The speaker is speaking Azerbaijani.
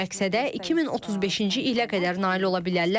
Bu məqsədə 2035-ci ilə qədər nail ola bilərlərmi?